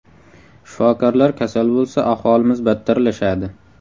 Shifokorlar kasal bo‘lsa, ahvolimiz battarlashadi.